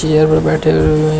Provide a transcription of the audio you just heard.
chair पर बैठे हु हुए--